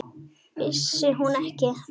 Vissi hún ekki?